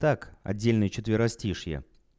так отдельный четверостишья